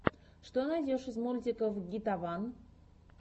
что найдешь из мультиков гитаван